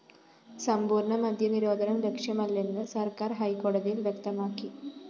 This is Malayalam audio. സമ്പൂര്‍ണ്ണ മദ്യനിരോധനം ലക്ഷ്യമല്ലെന്ന് സര്‍ക്കാര്‍ ഹൈക്കോടതിയില്‍ വ്യക്തമാക്കി